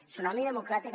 tsunami democràtic